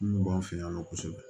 Mun b'an fɛ yan nɔ kosɛbɛ